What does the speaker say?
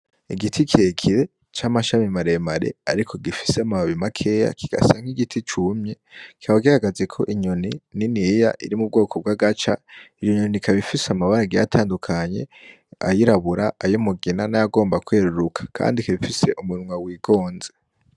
Igiti kirekire c'amashami maremare ariko gifise amababi makeya, kigasa nk'igiti cumye, kikaba gihagazeko inyoni niniya iri mu bwoko bw'agaca. Iyo nyoni ikaba ifise amabara agiye atandukanye, ayirabura, ay'umugina n'ayagomba kweruruka, kandi ifise umunwa wigonze.